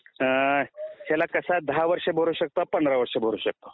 ह्याला कसय दहा वर्ष भरू शकता पंधरा वर्ष भरू शकता